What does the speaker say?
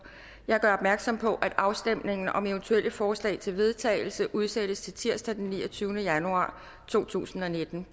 jeg gør opmærksom på at afstemning om eventuelle forslag til vedtagelse udsættes til tirsdag den niogtyvende januar to tusind og nitten